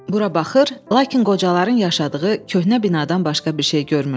Bura baxır, lakin qocaların yaşadığı köhnə binadan başqa bir şey görmürlər.